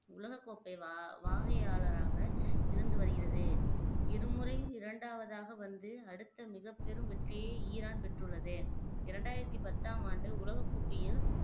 உலகக் கோப்பை வா வாகையாளராக இருந்து வருகிறது இருமுறை இரண்டாவதாக வந்து அடுத்த மிகப் பெரும் வெற்றியை ஈரான் பெற்றுள்ளது இரண்டாயிரத்தி பத்தாம் ஆண்டு உலகக்கோப்பையில்